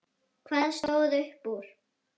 Hvað stóð upp úr?